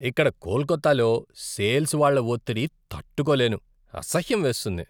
ఇక్కడ కోల్కతాలో సేల్స్ వాళ్ళ ఒత్తిడి తట్టుకోలేను. అసహ్యం వేస్తుంది.